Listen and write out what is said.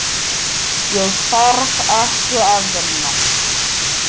Ég þarf ekki að vinna.